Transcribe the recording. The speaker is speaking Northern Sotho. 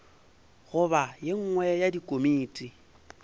goba ye nngwe ya dikomiti